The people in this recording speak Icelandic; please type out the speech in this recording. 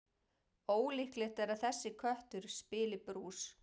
Ólíklegt er að þessi köttur spili brús.